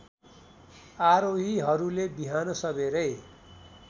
आरोहीहरूले बिहान सबेरै